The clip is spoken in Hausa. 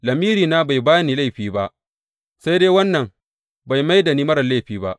Lamirina bai ba ni laifi ba, sai dai wannan bai mai da ni marar laifi ba.